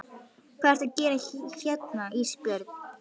Hvað ertu að gera hérna Ísbjörg?